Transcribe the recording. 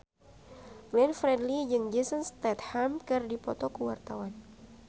Glenn Fredly jeung Jason Statham keur dipoto ku wartawan